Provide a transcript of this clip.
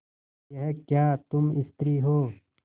यह क्या तुम स्त्री हो